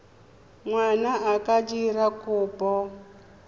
ngwana a ka dira kopo